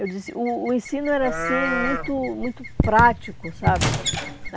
Eu disse o o ensino era, assim, muito muito prático, sabe?